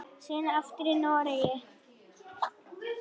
Síðan aftur í Noregi.